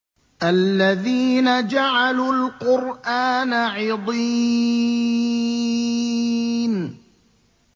الَّذِينَ جَعَلُوا الْقُرْآنَ عِضِينَ